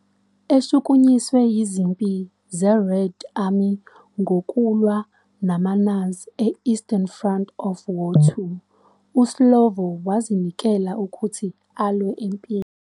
Eshukunyiswe izimpi ze-Red Army ngokulwa namaNazi e-Eastern Front of War II, uSlovo wazinikelwa ukuthi alwe empini.